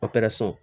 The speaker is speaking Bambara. so